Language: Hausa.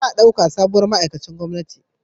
Za a dauka sabuwar ma'aikacin gwamnati